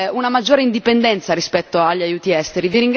una maggiore indipendenza rispetto agli aiuti esteri.